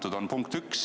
See on punkt üks.